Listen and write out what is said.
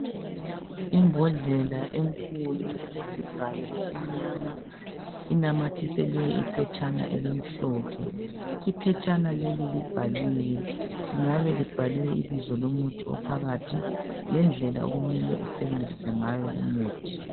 Imbodlela enkulu elesivalo esimnyama inamathiselwe iphetshana elimhlophe. Iphetshana leli libhaliwe lingabe libhalwe ibizo lomuthi ophakathi lendlela okumele usebenzise ngayo lumuthi.